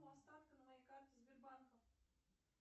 остатки на моей карте сбербанка